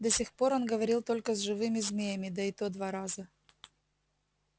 до сих пор он говорил только с живыми змеями да и то два раза